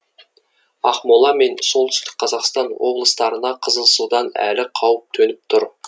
ақмола мен солтүстік қазақстан облыстарына қызыл судан әлі қауіп төніп тұр